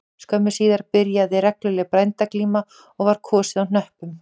Skömmu síðar byrjaði regluleg bændaglíma og var kosið á hnöppum